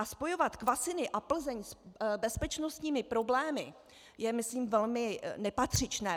A spojovat Kvasiny a Plzeň s bezpečnostními problémy je myslím velmi nepatřičné.